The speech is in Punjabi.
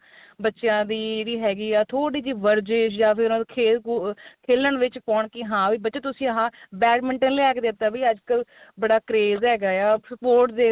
ਬੱਚਿਆ ਦੀ ਦੀ ਵੀ ਹੈਗੀ ਏ ਥੋੜੀ ਜੀ ਵਰਜਿਸ ਜਾ ਫ਼ਿਰ ਖੇਲ ਕੁ ah ਖੇਲਣ ਵਿੱਚ ਪਾਉਣ ਕੀ ਹਾਂ ਵੀ ਬੱਚੇ ਤੁਸੀਂ ਆਹ badminton ਲਿਆ ਕੇ ਦੇਤਾ ਵੀ ਅੱਜਕਲ ਬੜਾ craze ਹੈਗਾ ਆ sports